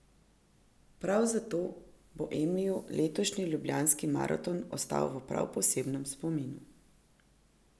Prav zato bo Emiju letošnji ljubljanski maraton ostal v prav posebnem spominu.